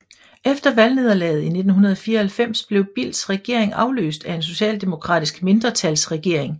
Efter valgnederlaget i 1994 blev Bildts regering afløst af en socialdemokratisk mindretalsregering